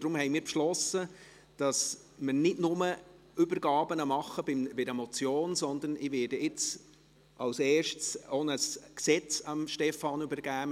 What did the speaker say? Deshalb haben wir beschlossen, dass wir nicht nur Übergaben bei Motionen machen, sondern ich werde jetzt zum ersten Mal auch eine Gesetzesdebatte an Stefan Costa übergeben.